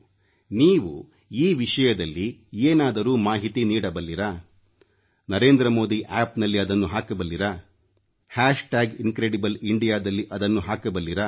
ನೀವು ಈ ವಿಷಯದಲ್ಲಿ ಏನಾದರೂ ಮಾಹಿತಿ ನೀಡಬಲ್ಲಿರಾ NarendraModiAppನಲ್ಲಿ ಅದನ್ನು ಹಾಕಬಲ್ಲಿರಾ ಇನ್ಕ್ರೆಡಿಬ್ಲಿಯಂಡಿಯಾ ಹ್ಯಾಷ್ ಟ್ಯಾಗ್ ಇನ್ಕ್ರೆಡಿಬ್ಲಿಯಂಡಿಯಾ ದಲ್ಲಿ ಅದನ್ನು ಹಾಕಬಲ್ಲಿರಾ